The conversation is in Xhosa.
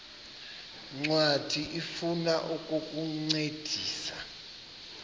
ncwadi ifuna ukukuncedisa